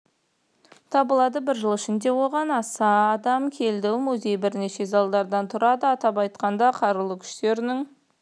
табылады бір жыл ішінде оған аса адам келді музейбірнеше залдардан тұрады атап айтқанда қарулы күштерінің